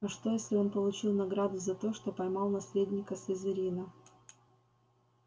а что если он получил награду за то что поймал наследника слизерина